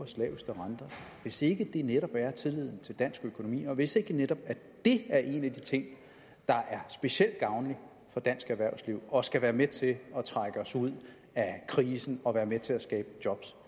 hvis ikke det netop er tilliden til dansk økonomi og hvis ikke det netop er en af de ting der er specielt gavnlig for dansk erhvervsliv og skal være med til at trække os ud af krisen og være med til at skabe jobs